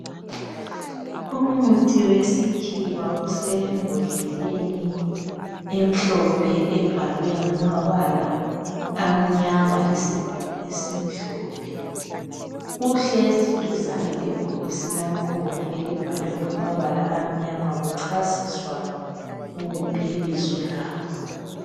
Umuthi wesikhiwa usembodleleni emhlophe ebhalwe ngamabala amnyama lesivalo esimhlophe. Uhlezi duzane lebhokisi lakhona elibhalwe ngamabala amnyama. Kuchasiswa libizo lawo.